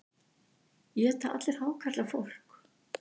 Éta allir hákarlar fólk?